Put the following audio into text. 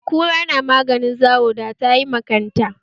Da kura tana maganin zawo da tayi ma kanta